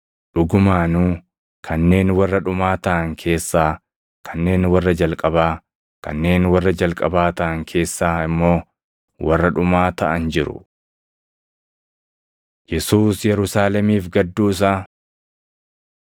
Dhugumaanuu kanneen warra dhumaa taʼan keessaa kanneen warra jalqabaa, kanneen warra jalqabaa taʼan keessaa immoo warra dhumaa taʼan jiru.” Yesuus Yerusaalemiif Gadduu Isaa 13:34,35 kwf – Mat 23:37‑39 13:34,35 kwi – Luq 19:41